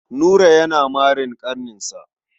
Nura yana marin ƙaninsa.